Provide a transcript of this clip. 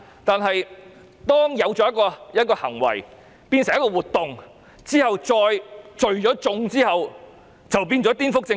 但當一個行為變成一個活動，再加上聚眾，很可能就構成顛覆政權。